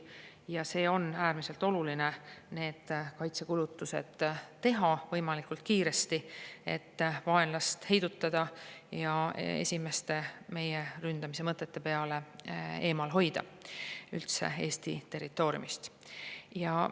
Ja on äärmiselt oluline need kaitsekulutused teha võimalikult kiiresti, et vaenlast heidutada ja hoida teda juba alates esimestest meie ründamise mõtetest peale Eesti territooriumist eemal.